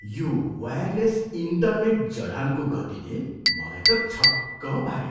यो wireless internet जडानको गतिले मलाई त छक्क पाऱ्यो।